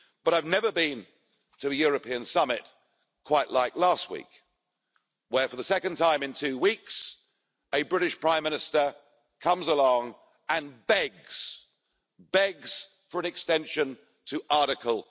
But I've never been to a European summit quite like last week, where for the second time in two weeks a British prime minister comes along and begs, begs for an extension to Article